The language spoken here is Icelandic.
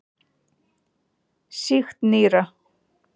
Sýkt nýra.